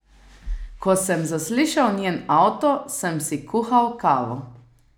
Ko sem zaslišal njen avto, sem si kuhal kavo.